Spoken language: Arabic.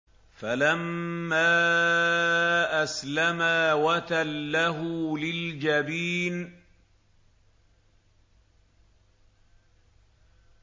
فَلَمَّا أَسْلَمَا وَتَلَّهُ لِلْجَبِينِ